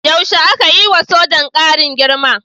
Yaushe aka yi wa sojan ƙarin girma?